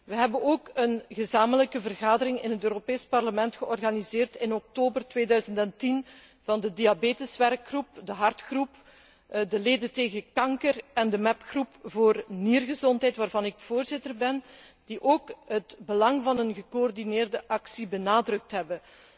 Wij hebben ook een gezamenlijke vergadering in het Europees Parlement georganiseerd in oktober 2010 van de diabeteswerkgroep, de hartgroep, de leden tegen kanker en de MEP groep voor niergezondheid, waarvan ik voorzitter ben, die ook het belang van een gecoördineerde actie benadrukt hebben.